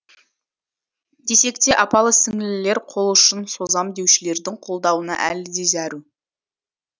десек те апалы сіңлілер қолұшын созам деушілердің қолдауына әлі де зәру